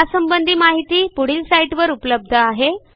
अधिक माहिती पुढील लिंकवर उपलब्ध आहे